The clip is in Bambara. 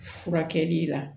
Furakɛli la